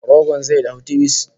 Rogon zai dahu tibis!